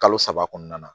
Kalo saba kɔnɔna na